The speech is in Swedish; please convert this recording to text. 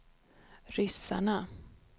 ryssarna